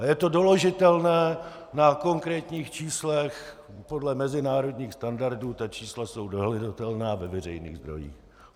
A je to doložitelné na konkrétních číslech podle mezinárodních standardů, ta čísla jsou dohledatelná ve veřejných zdrojích.